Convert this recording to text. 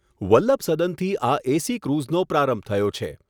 વલ્લભસદનથી આ એસી ક્રુઝનો પ્રારંભ થયો છે.